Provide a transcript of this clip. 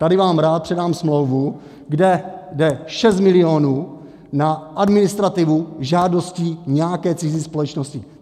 Tady vám rád předám smlouvu, kde je 6 milionů na administrativu žádostí nějaké cizí společnosti.